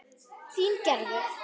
Þín Gerður.